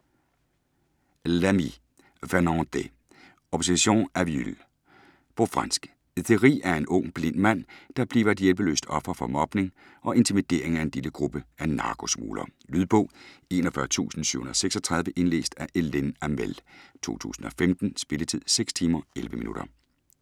Lamy, Fernande D.: Obsession aveugle På fransk. Thierry er en ung, blind mand, der bliver et hjælpeløst offer for mobning og intimidering af en lille gruppe af narkosmuglere. Lydbog 41736 Indlæst af Hélène Hamel, 2015. Spilletid: 6 timer, 11 minutter.